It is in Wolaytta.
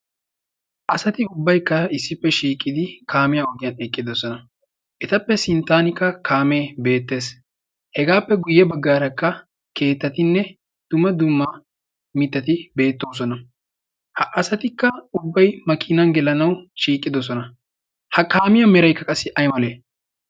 hasati ubbai kaa issippe shiiqqidi kaamiyaa ogiyan eqqidosona etappe sinttanikka kaamee beettees hegaappe guyye baggaarakka keettatinne duma dumma mitati beettoosona ha asatikka ubbai makiinan gelanawu shiiqqidosona. ha kaamiyaa meraikka qassi ai malee?